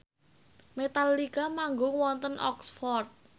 Metallica manggung wonten Oxford